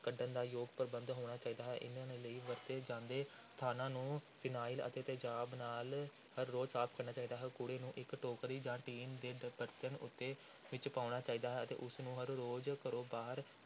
ਕੱਢਣ ਦਾ ਯੋਗ ਪ੍ਰਬੰਧ ਹੋਣਾ ਚਾਹੀਦਾ ਹੈ, ਇਨ੍ਹਾਂ ਲਈ ਵਰਤੇ ਜਾਂਦੇ ਸਥਾਨਾਂ ਨੂੰ ਫਿਨਾਇਲ ਅਤੇ ਤੇਜ਼ਾਬ ਨਾਲ ਹਰ ਰੋਜ਼ ਸਾਫ਼ ਕਰਨਾ ਚਾਹੀਦਾ ਹੈ, ਕੂੜੇ ਨੂੰ ਇਕ ਟੋਕਰੀ ਜਾਂ ਟੀਨ ਦੇ ਬਰਤਨ ਉੱਤੇ ਵਿੱਚ ਪਾਉਣਾ ਚਾਹੀਦਾ ਹੈ ਤੇ ਉਸ ਨੂੰ ਹਰ ਰੋਜ਼ ਘਰੋਂ ਬਾਹਰ